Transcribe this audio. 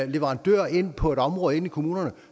leverandører ind på et område i kommunerne